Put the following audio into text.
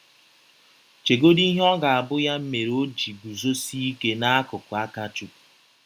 Chegọdị ihe ọ ga - abụ ya mere ọ ji gụzọsie ike n’akụkụ Akachụkwụ.